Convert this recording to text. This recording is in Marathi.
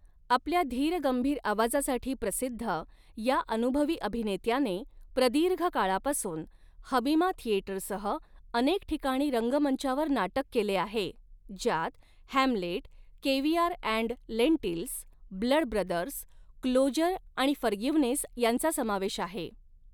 आपल्या धीरगंभीर आवाजासाठी प्रसिद्ध या अनुभवी अभिनेत्याने, प्रदीर्घ काळापासून हबीमा थियेटर सह अनेक ठिकाणी रंगमंचावर नाटक केले आहे, ज्यात Hamlet, caviar and lentils, blood brothers, closer आणि फरगिवनेस यांचा समावेश आहे.